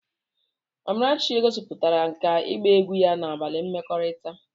Amarachi gosipụtara nkà ịgba egwu ya na abalị mmekọrịta.